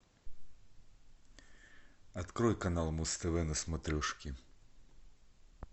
открой канал муз тв на смотрешке